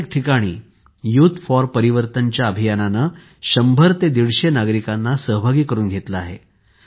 प्रत्येक ठिकाणी youth for परिवर्तनाच्या अभियाननं शम्भर ते दीडशे नागरिकांना सहभागी करून घेतले आहे